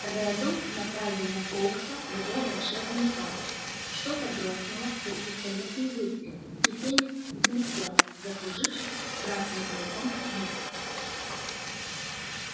реддл направил на фоукса его волшебную палочку что-то грохнуло как пистолетный выстрел и феникс взлетел закружившись в красно-золотом вихре